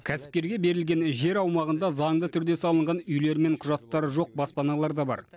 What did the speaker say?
кәсіпкерге берілген жер аумағында заңды түрде салынған үйлер мен құжаттары жоқ баспаналар да бар